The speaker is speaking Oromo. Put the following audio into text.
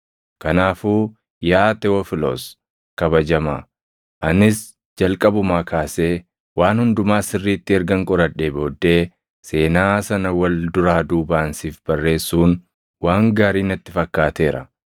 Kanaafuu yaa Tewofilos kabajamaa, anis jalqabumaa kaasee waan hundumaa sirriitti ergan qoradhee booddee seenaa sana wal duraa duubaan siif barreessuun waan gaarii natti fakkaateera.